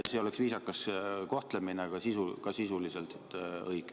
See oleks viisakas kohtlemine ja ka sisuliselt õige.